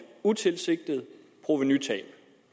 utilsigtet provenutab